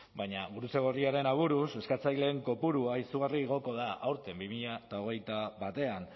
baina gurutze gorriaren aburuz eskatzaileen kopurua izugarri igoko da aurten bi mila hogeita batean